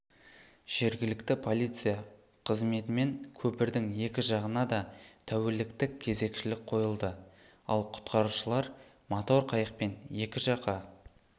жергілікті полиция қызметімен көпірдің екі жағынада тәуліктік кезекшілік қойылды ал құтқарушылар мотор қайықпен екі жақа